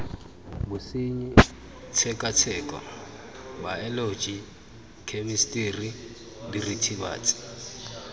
bosenyi tshekatsheko baeoloji khemisitiri diritibatsi